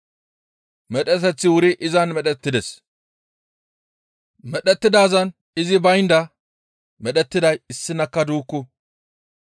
Medheteththi wuri izan medhettides. Medhettidaazan izi baynda medhettiday issinakka duukku.